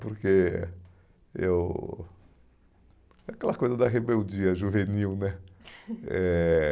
Porque eu... Aquela coisa da rebeldia juvenil, né? Eh...